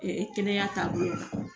Ee kɛnɛya taabolo bolo la